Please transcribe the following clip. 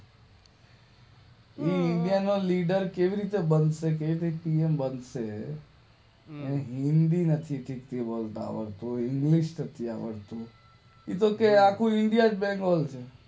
એ India નો leader કેવી રીતે બનશે કેવી રીતે કિંગ બનશે એને હિન્દી નથી ઠીક થી બોલતા આવડતું ઇંગલિશ નથી આવડતું એ છે આખું ઇન્ડિયા